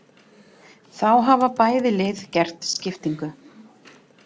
Þá hafa bæði lið gert skiptingu.